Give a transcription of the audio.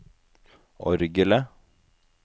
orgelet